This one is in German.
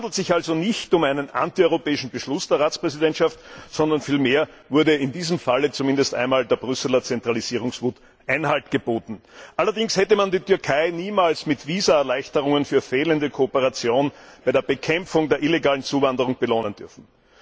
Es handelt sich also nicht um einen anti europäischen Beschluss der Ratspräsidentschaft, sondern vielmehr wurde in diesem Fall zumindest einmal der Brüsseler Zentralisierungswut Einhalt geboten. Allerdings hätte man die Türkei niemals mit Visaerleichterungen für fehlende Kooperation bei der Bekämpfung der illegalen Zuwanderung belohnen dürfen.